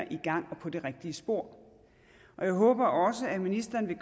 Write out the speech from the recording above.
i gang og på det rigtige spor jeg håber også at ministeren i